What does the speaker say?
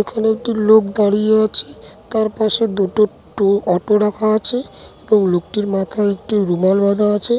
এখানে একটি লোক দাঁড়িয়ে আছে তার পাশে দুটো টু অটো রাখা আছে এবং লোকটির মাথায় একটু রুমাল বাধা আছে ।